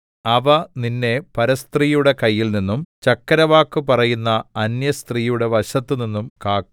അവ നിന്നെ പരസ്ത്രീയുടെ കയ്യിൽനിന്നും ചക്കരവാക്ക് പറയുന്ന അന്യസ്ത്രീയുടെ വശത്തുനിന്നും കാക്കും